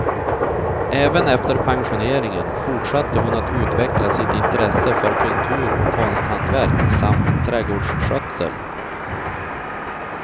Även efter pensioneringen fortsatte hon att utveckla sitt intresse för kultur och konsthantverk samt trädgårdsskötsel.